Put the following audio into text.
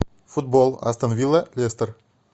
футбол астон вилла лестер